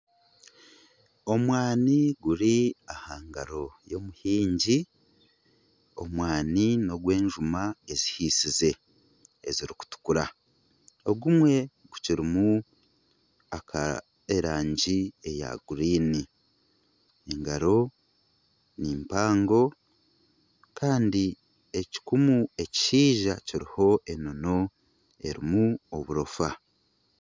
Omwani guri aha ngaro y'omuhingi, omwani n'ogw'enjuma ezihisize ezirikutukura ogumwe gukirimu ak'erangi eya guriini engaro nimpango kandi ekikumu ekishaija kiriho enono kirimu oburofa.